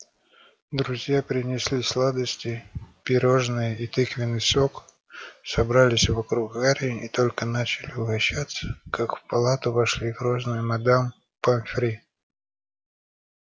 друзья принесли сладости пирожные и тыквенный сок собрались вокруг гарри и только начали угощаться как в палату вошли грозная мадам помфри